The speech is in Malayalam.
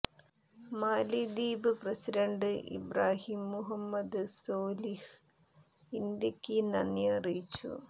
മാലി ദ്വീപ് പ്രസിഡന്റ് ഇബ്രാഹിം മുഹമ്മദ് സോലിഹ് ഇന്ത്യക്ക് നന്ദി അറിയിച്ചു